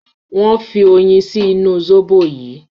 wón fí oyin sí inú imú zobo yíi